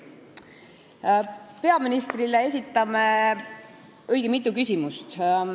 Me esitame peaministrile õige mitu küsimust.